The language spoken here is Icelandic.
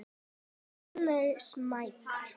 Eru þær orðnar smeykar?